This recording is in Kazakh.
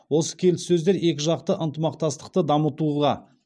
осы келіссөздер екіжақты ынтымақтастықты дамытуға